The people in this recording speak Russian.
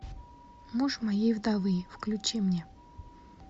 муж моей вдовы включи мне